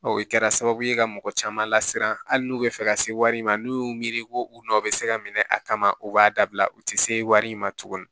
o kɛra sababu ye ka mɔgɔ caman lasiran hali n'u bɛ fɛ ka se wari in ma n'u y'u miiri ko u nɔ bɛ se ka minɛ a kama u b'a dabila u tɛ se wari in ma tugunni